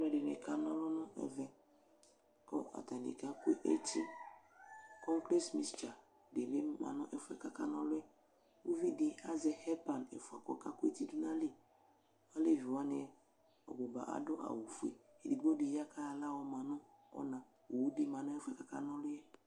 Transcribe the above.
Alʋɛɖinik'anʋlʋ nʋ ɛvɛkʋ atani kakʋ eti concrate mixture ɖibi ma nʋ ɛfuɛ kaka n'ʋlɔɛƲviɖid azɛ head pan ɛfua k'ɔka kʋ ɛti ɖʋ nʋ ayiliAaleviwani, ɔbʋba aɖʋ awu fueEɖigboɖi yaa k'ayɔ aɣla yɔma nʋ ɔnaowuɖi ma nʋ ɛfuɛ k'aka na ɔlʋyɛ